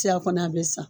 Tiyan kɔni a bɛ sa